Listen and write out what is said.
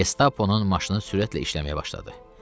Qestaponun maşını sürətlə işləməyə başladı.